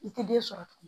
I tɛ den sɔrɔ tugun